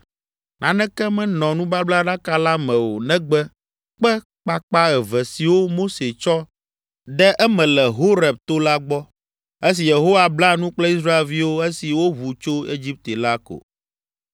Naneke menɔ nubablaɖaka la me o negbe kpe kpakpa eve siwo Mose tsɔ de eme le Horeb to la gbɔ, esi Yehowa bla nu kple Israelviwo esi woʋu tso Egipte la ko.